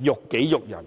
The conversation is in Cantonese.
辱己辱人。